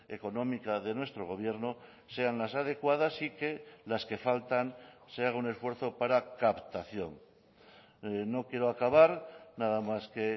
económica de nuestro gobierno sean las adecuadas y que las que faltan se haga un esfuerzo para captación no quiero acabar nada más que